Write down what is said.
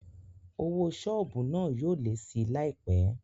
Owó sọ́ọ̀bù náà yóò lé síi láìpé